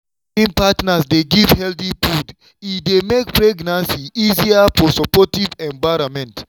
wen caring partners dey give healthy food e dey make pregnancy easier for supportive environment.